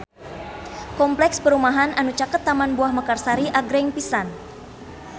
Kompleks perumahan anu caket Taman Buah Mekarsari agreng pisan